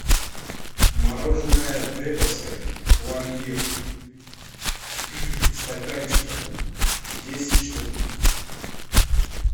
мороженое деповское пломбир в стаканчиках десять штук